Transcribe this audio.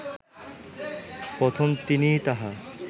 প্রথম তিনিই তাহা